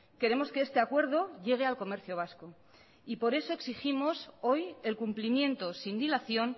queremos que este acuerdo llegue al comercio vasco y por eso exigimos hoy el cumplimiento sin dilación